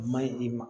Maɲi i ma